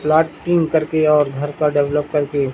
plotting कर के और घर का डेवलप कर के--